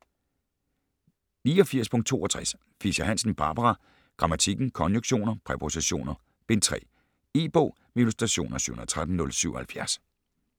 89.62 Fischer-Hansen, Barbara: Grammatikken: Konjunktioner, præpositioner: Bind 3 E-bog med illustrationer 713077 2013.